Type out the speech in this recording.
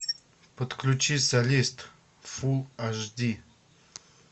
подключи солист фул аш ди